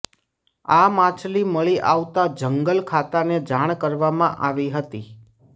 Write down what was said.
આ માછલી મળી આવતા જંગલ ખાતાને જાણ કરવામાં આવી હતી